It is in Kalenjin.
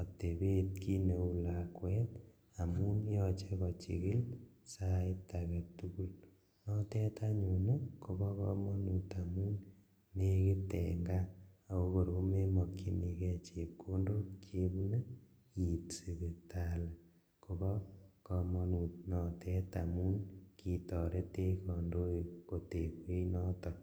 otebet kineu lakwet amun yoche kochikil sait aketugul notet anyun kobokomonut amun nekit en kaa ako kor komemokchinikee chepkondok chebune iit sipitali kobokomonut notet amun kitoretech kondoik kotekwech noton.